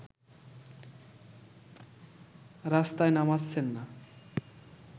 রাস্তায় নামাচ্ছেন না